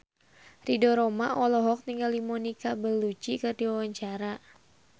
Ridho Roma olohok ningali Monica Belluci keur diwawancara